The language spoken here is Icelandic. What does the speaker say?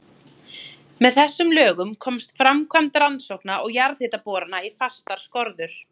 Með þessum lögum komst framkvæmd rannsókna og jarðhitaborana í fastar skorður.